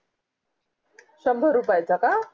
शंभर रुपयाचा का